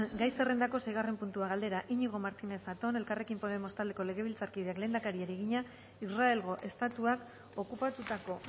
gai zerrendako seigarren puntua galdera iñigo martínez zatón elkarrekin podemos taldeko legebiltzarkideak lehendakariari egina israelgo estatuak okupatutako